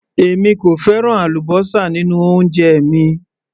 Èmi kò fẹ́ràn àlúbósà nínú oúnjẹ mi